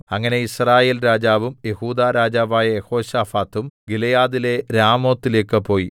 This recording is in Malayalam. അങ്ങനെ യിസ്രായേൽ രാജാവും യെഹൂദാ രാജാവായ യെഹോശാഫാത്തും ഗിലെയാദിലെ രാമോത്തിലേക്ക് പോയി